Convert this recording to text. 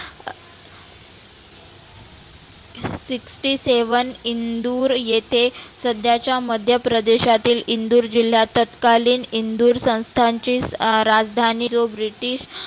sixty seven Indore येथे सध्याच्या मध्यप्रदेशातील इंदुर जिल्ह्यात ततकालीन इंदुर संस्थांचे राजधानी of british